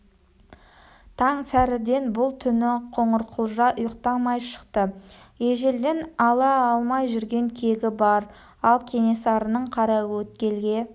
таң сәріден бұл түні қоңырқұлжа ұйықтамай шықты ежелден ала алмай жүрген кегі бар ал кенесарының қараөткелге